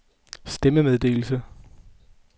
stemmemeddelelse